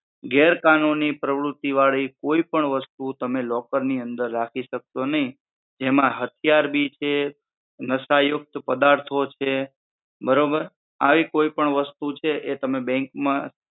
ગેરકાનૂની પ્રવૃત્તિ વાડી કોઈ પણ વસ્તુ તમે locker ની અંદર રાખી શકશો નહિ જેમાં હથિયાર બી છે, નશાયુક્ત પદાર્થો છે બરોબર આવી કોઈ પણ વસ્તુ છે એ તમે bank માં